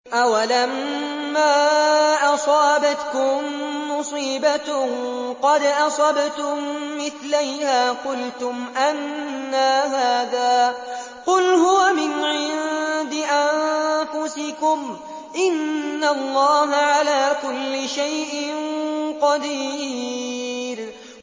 أَوَلَمَّا أَصَابَتْكُم مُّصِيبَةٌ قَدْ أَصَبْتُم مِّثْلَيْهَا قُلْتُمْ أَنَّىٰ هَٰذَا ۖ قُلْ هُوَ مِنْ عِندِ أَنفُسِكُمْ ۗ إِنَّ اللَّهَ عَلَىٰ كُلِّ شَيْءٍ قَدِيرٌ